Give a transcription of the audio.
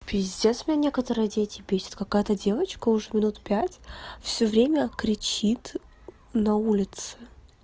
пиздец меня некоторые дети бесят какая-то девочка уже минут пять всё время кричит на улице